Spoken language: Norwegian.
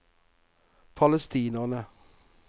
palestinere